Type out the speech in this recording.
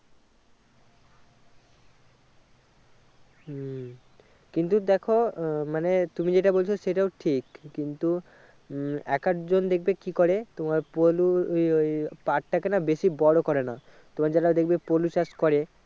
হম কিন্তু দেখো আহ মানে তুমি যেটা বলছো সেটাও ঠিক কিন্তু উম এককজন দেখবে কি করে তোমার পলু ই ওই পাট টাকে না বেশি বড়ো করে না তোমার যারা দেখবে পলু চাষ করে